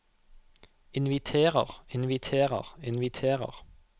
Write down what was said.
inviterer inviterer inviterer